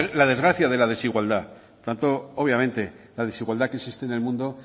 la desgracia de la desigualdad obviamente la desigualdad que existe en el mundo